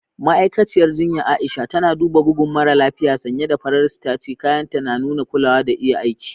Ma'aikaciyar jinya Aisha tana duba bugun mara lafiya sanye da farar sitaci, kayanta na nuna kulawa da iya aiki.